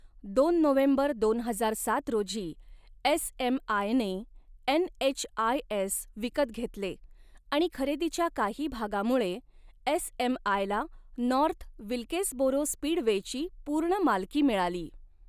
दोन नोव्हेंबर दोन हजार सात रोजी एसएमआयने एनएचआयएस विकत घेतले आणि खरेदीच्या काही भागामुळे एसएमआयला नॉर्थ विल्केसबोरो स्पीडवेची पूर्ण मालकी मिळाली.